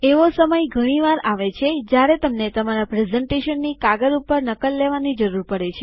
એવો સમય ઘણી વાર આવે છે જ્યારે તમને તમારા પ્રેઝન્ટેશનની કાગળ ઉપર નકલ લેવાની જરૂર પડે